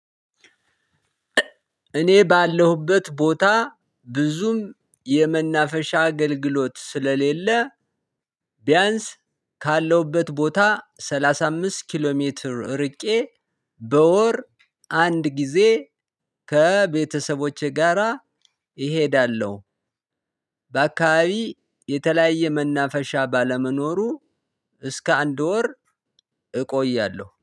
እኔ ባለሁበት ቦታ ብዙም የመናፈሻ አገልግሎት ስለሌለ ቢያንስ ካለሁበት ቦታ ሰላሳ አምስት ኪሎ ሜትር ርቄ በወር አንድ ጊዜ ከቤተሰቦቼ ጋራ እሄዳለሁ። በአካባቢ የተለያየ መናፈሻ ባለመኖሩ እስከ አንድ ወር እቆያለሁ